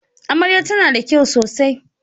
Amarya tana da kyau sosai yau.